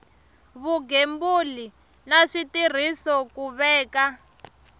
vugembuli na switirhiso ku veka